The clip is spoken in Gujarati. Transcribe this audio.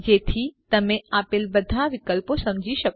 જેથી તમે આપેલ બધા વિકલ્પો સમજી શકો